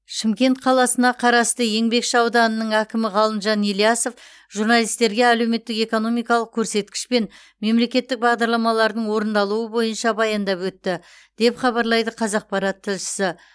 шымкент қаласына қарасты еңбекші ауданының әкімі ғалымжан ильясов журналистерге әлеуметтік экономикалық көрсеткіш пен мемлекеттік бағдарламалардың орындалуы бойынша баяндап өтті деп хабарлайды қазақпарат тілшісі